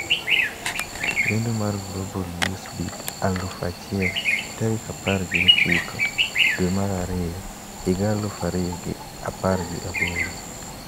Lendo mar Global Newsbeat aluf achiel tarik apar gi ochiko dwe mar ariyo higa aluf ariyo gi apar gi aboro.